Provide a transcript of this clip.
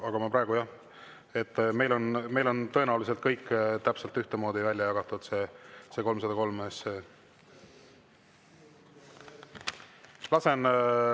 Aga praegu jah, meil on tõenäoliselt kõik täpselt ühtemoodi välja jagatud see 303 SE.